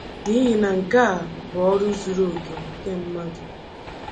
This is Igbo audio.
N’ihi na nke a bụ ọrụ zuru oke nke mmadụ